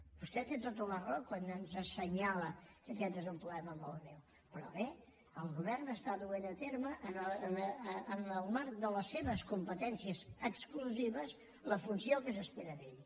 vostè té tota la raó quan ens assenyala que aquest és un problema molt greu però bé el govern està duent a terme en el marc de les seves competències exclusives la funció que s’espera d’ell